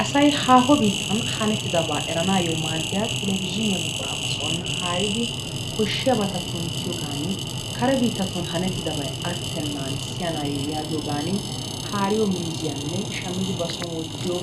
Asay haaho biittaani haanettidabaa eranayoo maaddiyaa telebizhinyaa buquraa ba soon haaridi koshshiyaabata kunttiyoogani kare biittan haanettidabay attenan siyanayoo yaagiyoogani haariyoo meeziyaanne shaammidi ba soon wottiyoo